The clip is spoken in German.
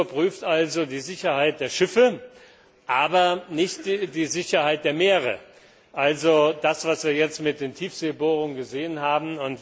Die Agentur prüft also die Sicherheit der Schiffe, aber nicht die Sicherheit der Meere, also das, was wir jetzt mit den Tiefseebohrungen gesehen haben.